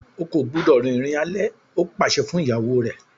O kò gbúdọ̀ rìnrìn alẹ́! ó pàṣẹ fún ìyàwó rẹ̀.